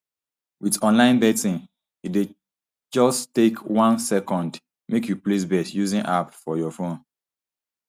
wit online betting e dey just take one second make you place bet using app for your phone